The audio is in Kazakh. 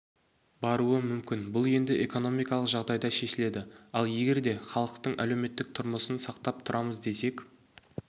баруы мүмкін бұл енді экономикалық жағдайда шешіледі ал егерде халықтың әлеуметтік тұрмысын сақтап тұрамыз десек